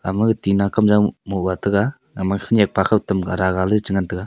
ama tina kamjor mum ga taiga ama khanak pa tam ara ga ley ngan taiga.